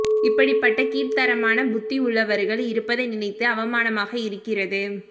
இப்படிப்பட்ட கீழ்த்தரமான புத்தி உள்ளவர்கள் இருப்பதை நினைத்து அவமானமாக இருக்கிறது